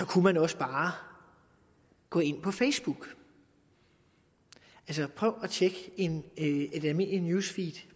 kan også bare gå ind på facebook prøv at tjekke et almindeligt news feed